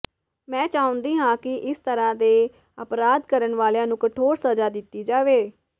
ਮੈਂ ਚਾਹੁੰਦੀ ਹਾਂ ਕਿ ਇਸ ਤਰ੍ਹਾਂ ਦੇ ਅਪਰਾਧ ਕਰਨ ਵਾਲਿਆਂ ਨੂੰ ਕਠੋਰ ਸਜਾ ਦਿੱਤੀ ਜਾਵੇ